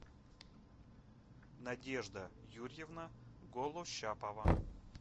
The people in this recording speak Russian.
надежда юрьевна голощапова